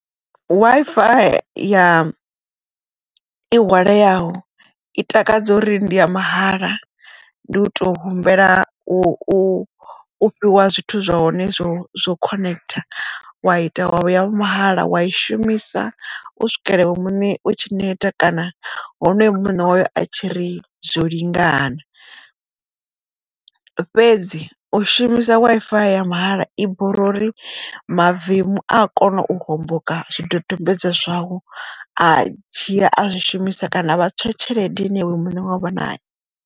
Wi-Fi ya i hwaleaho i takadza uri ndi ya mahala ndi u to humbela u fhiwa zwithu zwa hone zwo zwo khonekhitha wa ita wavho ya mahala wa i shumisa u swikela iwe muṋe u tshi neta kana honoyo muṋe wayo a tshi ri zwo lingana. Fhedzi u shumisa Wi-Fi ya mahala i bora uri mavemu a kona u homboka zwidodombedzwa zwau a dzhia a zwishumisa kana vha tswa tshelede ine iwe muṋe wa u vha nayo.